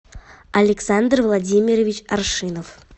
александр владимирович аршинов